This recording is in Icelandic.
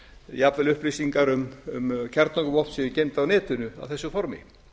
jafnvel upplýsingar um kjarnorkuvopn séu geymd á netinu á þessu formi